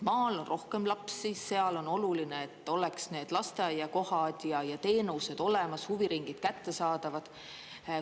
Maal on rohkem laps, seal on oluline, et oleks need lasteaiakohad ja teenused olemas, huviringid kättesaadavad.